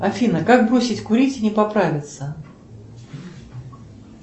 афина как бросить курить и не поправиться